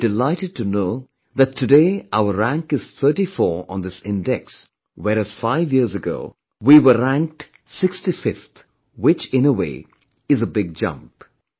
And you will be delighted to know that today our rank is thirty four on this index whereas five years ago we were ranked 65th, which in a way is a big jump